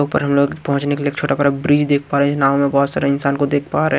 ऊपर हम लोग पहुंचने के लिए एक छोटा बड़ा ब्रिज देख पा रहे हैं नाव में बहोत सारा इंसान को देख पा रहे हैं।